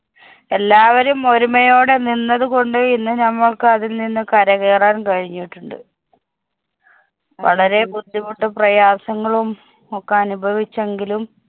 എല്ലാവരും ഒരുമയോടെ നിന്നതുകൊണ്ട് ഇന്നു നമുക്ക് അതില്‍ നിന്ന് കരകയറാന്‍ കഴിഞ്ഞിട്ടുണ്ട്. വളരെ ബുദ്ധിമുട്ടും പ്രയാസങ്ങളും ഒക്കെ അനുഭവിച്ചെങ്കിലും